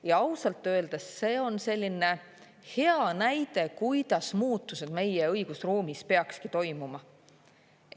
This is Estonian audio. Ja ausalt öeldes, see on selline hea näide, kuidas muutused meie õigusruumis peakski toimuma.